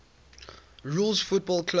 rules football clubs